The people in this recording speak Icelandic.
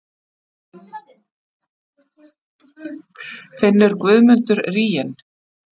Finnur Guðmundur ríginn?